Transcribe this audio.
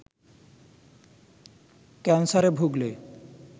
ক্যানসারে ভুগলে